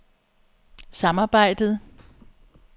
samarbejdet